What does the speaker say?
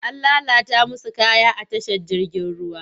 An lalata musu kaya a tashar jirgin ruwa.